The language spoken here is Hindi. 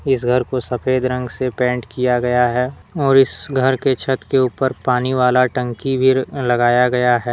इस घर को सफेद रंग से पेंट किया गया है और इस घर के छत के ऊपर पानी वाला टंकी भी लगाया गया है।